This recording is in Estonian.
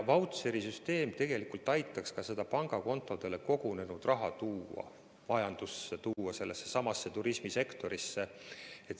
Vautšerite süsteem aitaks seda pangakontodele kogunenud raha tuua majandusse, tuua sellessesamasse turismisektorisse.